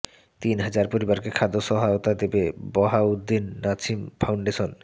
তিন হাজার পরিবারকে খাদ্য সহায়তা দেবে বাহাউদ্দিন নাছিম ফাউন্ডেশন